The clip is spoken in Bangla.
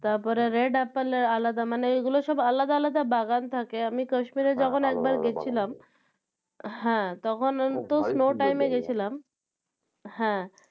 তারপরে red apple এর আলাদা মানে এগুলো সব আলাদা আলদা বাগান থাকে আমি কাশ্মীরে যখন একবার গেছিলাম হ্যাঁ তখন হয়তো snow time এ গেছিলাম, হ্যাঁ